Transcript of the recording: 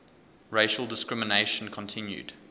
racial discrimination continued